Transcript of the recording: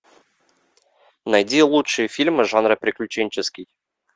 найди лучшие фильмы жанра приключенческий